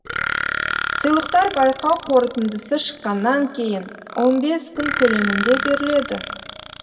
сыйлықтар байқау қорытындысы шыққаннан кейін он бес күн көлемінде беріледі